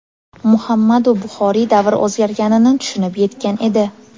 Muhammadu Buxoriy davr o‘zgarganini tushunib yetgan edi.